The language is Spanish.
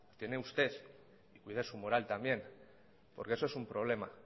tiene usted y cuide su moral también porque eso es un problema